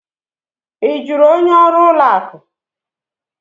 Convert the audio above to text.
Ị jụrụ onye ọrụ ụlọ akụ?